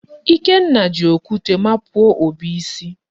Ikenna ji okwute mapuo Obi isi.